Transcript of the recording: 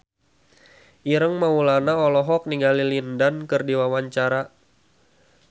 Ireng Maulana olohok ningali Lin Dan keur diwawancara